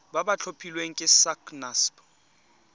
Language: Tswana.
ba ba tlhophilweng ke sacnasp